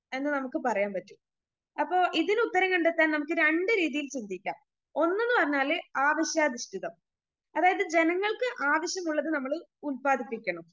എന്ന് നമുക്ക് പറയാൻ പറ്റും അപ്പോ ഇതിനുത്തരം കണ്ടെത്താൻ നമുക്ക് രണ്ട് രീതിയിൽ ചിന്തിക്കാം ഒന്ന്ന്ന് പറഞ്ഞാല് ആവശ്യാനുഷ്ഠിതം അതായത് ജനങ്ങൾക്ക് ആവശ്യമുള്ളത് നമ്മള് ഉൽപ്പാദിപ്പിക്കണം.